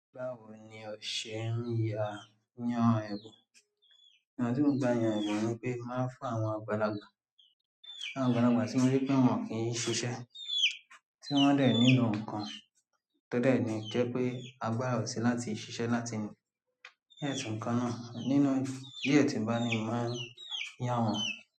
Báwo ni ọṣẹ n ya yan ẹbùn? Ọnà tí mo n gba yàn ẹbùn ni pé, mo máa ń fún àwọn àgbàlagbà, fún àwọn àgbàlagbà tí mo rí pé wọn kì í n ṣiṣẹ́, tí wọ́n dẹ̀ nílò nǹkan tọ́ dẹ́ ni jẹ́ pé agbára o ṣí láti ṣiṣẹ́ láti ní gẹ́ẹ̀tì nǹkan náà. Nínú díẹ̀ tí ń bá ni, mo máa yá wọ́n.